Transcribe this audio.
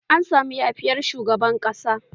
An masu yafiyar shugaban ƙasa.